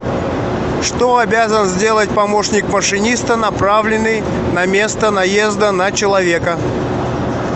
что обязан сделать помощник машиниста направленный на место наезда на человека